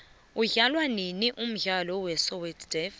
udlalwanini umdlalo we soweto davi